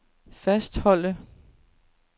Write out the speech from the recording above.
fastholde